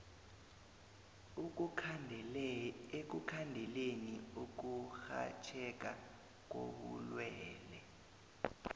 ekukhandeleni ukurhatjheka kobulwele